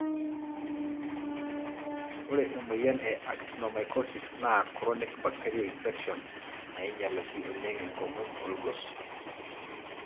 Ore emoyian e Actinomycosis na chronic bacterial infection nainyial oshi oleng enkomom olgos,